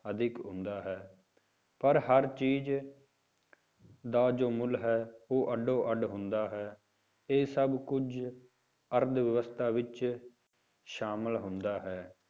ਅਧਿਕ ਹੁੰਦਾ ਹੈ, ਪਰ ਹਰ ਚੀਜ਼ ਦਾ ਜੋ ਮੁੱਲ ਹੈ ਉਹ ਅੱਡੋ ਅੱਡ ਹੁੰਦਾ ਹੈ, ਇਹ ਸਭ ਕੁੱਝ ਅਰਥਵਿਵਸਥਾ ਵਿੱਚ ਸ਼ਾਮਿਲ ਹੁੰਦਾ ਹੈ,